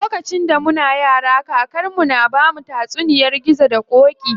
Lokacin da muna yara, kakar mu na bamu tatsuniyar gizo da ƙoƙi.